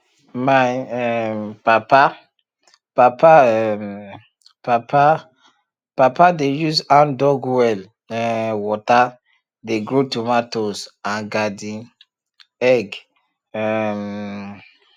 my um papa papa um papa papa dey use handdug well um water dey grow tomatoes and garden eggs um